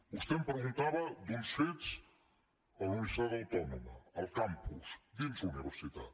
vostè em preguntava per uns fets a la universitat autònoma al campus dins la universitat